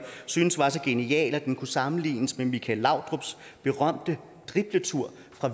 syntes var så genial at den kunne sammenlignes med michael laudrups berømte dribletur